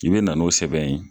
I bi na n'o sɛbɛn ye.